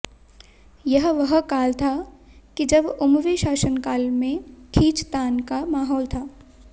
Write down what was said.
यह वह काल था कि जब उमवी शासनकाल में खींचतान का माहौल था